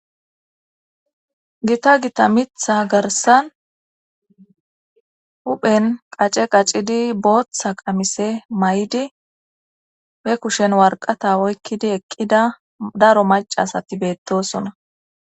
gita gita mitha garsan huphen qace qacidi booththa qamise may7di be kushen warqata oykkidi eqqida daro macasati beettosona